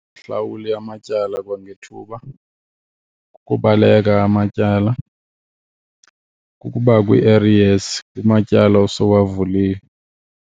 Uhlawule amatyala kwangethuba, kukubaleka amatyala, kukuba kwii-arrears kumatyala osowavulile.